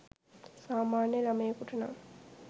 සාමාන්‍ය ළමයෙකුට නං